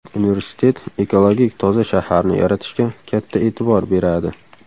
Universitet ekologik toza shaharni yaratishga katta e’tibor beradi.